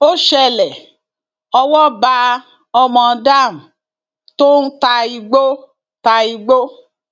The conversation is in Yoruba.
ó ṣẹlẹ owó bá ọmọ dam tó ń ta igbó ta igbó